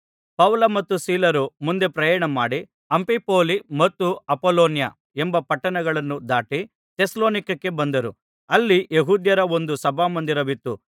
ಪೌಲ ಮತ್ತು ಸೀಲರು ಮುಂದೆ ಪ್ರಯಾಣಮಾಡಿ ಅಂಫಿಫೊಲಿ ಮತ್ತು ಅಪೊಲೋನ್ಯ ಎಂಬ ಪಟ್ಟಣಗಳನ್ನು ದಾಟಿ ಥೆಸಲೋನಿಕಕ್ಕೆ ಬಂದರು ಅಲ್ಲಿ ಯೆಹೂದ್ಯರ ಒಂದು ಸಭಾಮಂದಿರವಿತ್ತು